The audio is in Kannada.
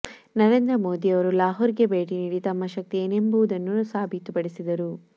ನರೇಂದ್ರ ಮೋದಿಯವರು ಲಾಹೋರ್ಗೆ ಭೇಟಿ ನೀಡಿ ತಮ್ಮ ಶಕ್ತಿ ಏನೆಂಬುದನ್ನು ಸಾಬೀತುಪಡಿಸಿದರು